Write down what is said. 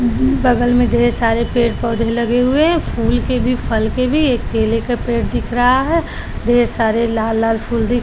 अम बगल में ढेर सारे पेड़ पोधे लगे हुए है फूल के भी फल के भी एक केले का पेड़ दिख रहा है ढेर सारे लाल लाल फूल दिख --